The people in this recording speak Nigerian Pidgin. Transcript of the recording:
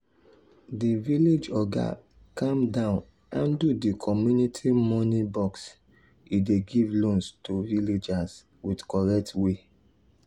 the village oga calm down handle the community money box e dey give loans to villagers with correct way.